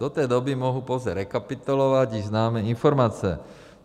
Do té doby mohu pouze rekapitulovat již známé informace.